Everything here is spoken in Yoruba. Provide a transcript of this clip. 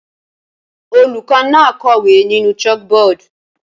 Olùkọ́ náà kọ̀wé nínú chalkboard